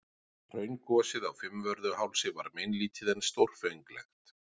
Hraungosið á Fimmvörðuhálsi var meinlítið en stórfenglegt.